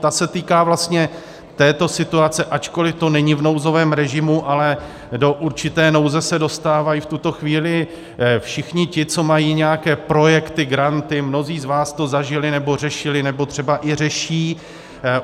Ta se týká vlastně této situace, ačkoli to není v nouzovém režimu, ale do určité nouze se dostávají v tuto chvíli všichni ti, co mají nějaké projekty, granty, mnozí z vás to zažili nebo řešili nebo třeba i řeší.